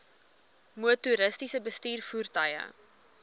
motoriste bestuur voertuie